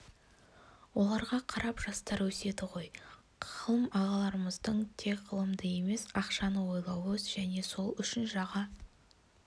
оларға қарап жастар өседі ғой ғалым ағаларымыздың тек ғылымды емес ақшаны ойлауы және сол үшін жаға